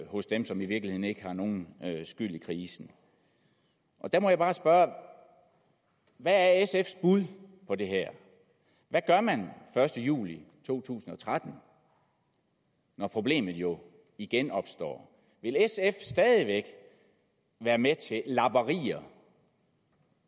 hos dem som i virkeligheden ikke har nogen skyld i krisen der må jeg bare spørge hvad er sfs bud på det her hvad gør man den første juli to tusind og tretten når problemet jo igen opstår vil sf stadig væk være med til lapperier